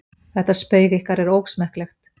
Þetta spaug ykkar er ósmekklegt.